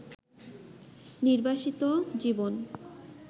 নির্বাসিত জীবন